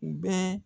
U bɛɛ